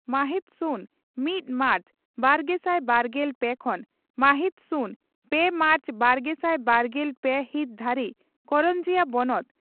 ᱢᱟᱦᱤᱛ ᱥᱩᱱ ᱢᱤᱛ ᱢᱟᱨᱪ ᱵᱟᱨᱜᱮᱥᱟᱭ ᱵᱟᱨᱜᱮᱞ ᱯᱮ ᱠᱷᱚᱱ ᱢᱟᱦᱤᱛ ᱥᱩᱱ ᱯᱮ ᱢᱟᱨᱪ ᱵᱟᱨᱜᱮᱥᱟᱭ ᱵᱟᱨᱜᱮᱞ ᱯᱮ ᱦᱤᱛ ᱫᱷᱟᱹᱨᱤᱡ ᱠᱚᱨᱚᱱᱡᱤᱭᱟᱹ ᱵᱚᱱᱚᱛ